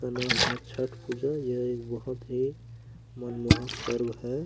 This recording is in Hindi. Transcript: इसका नाम है छठ पूजा ये एक बहुत ही मनमोहक पर्व है।